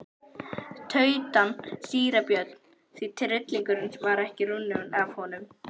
tautaði síra Björn því tryllingurinn var ekki runninn af honum.